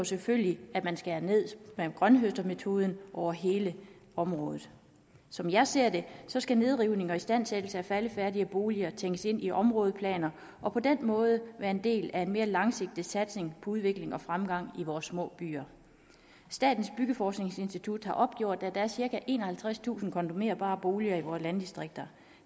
selvfølgelig skærer ned via grønthøstermetoden på hele området som jeg ser det skal nedrivning og istandsættelse af faldefærdige boliger tænkes ind i områdeplaner og på den måde være en del af en mere langsigtet satsning på udvikling og fremgang i vores små byer statens byggeforskningsinstitut har opgjort at der er cirka enoghalvtredstusind kondemnerbare boliger i vores landdistrikter